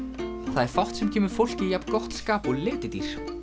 það er fátt sem kemur fólki í jafn gott skap og letidýr